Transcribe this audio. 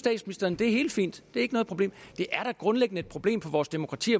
er helt fint og ikke noget problem det er da grundlæggende et problem for vores demokrati